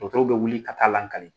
Tɔgɔtɔw bɛ wuli ka taa lakali